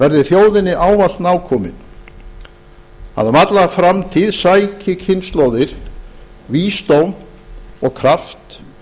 verði þjóðinni ávallt nákomin að um alla framtíð sæki kynslóðir vísdóm og kraft